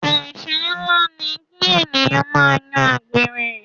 Ẹsẹ nlá ni ki ènìyàn máa yan àgbèrè.